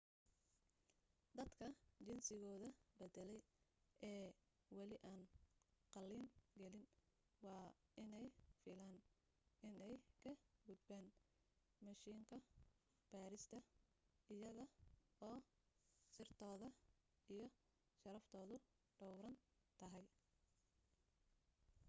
dadka jinsigooda baddalay ee wali aan qalliin gelin waa inaanay filan inay ka gudbaan mishiinka baadhista iyaga oo sirtooda iyo sharaftoodu dhowran tahay